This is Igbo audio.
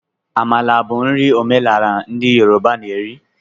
Amala bụ nri omenala ndị Yoruba na eri.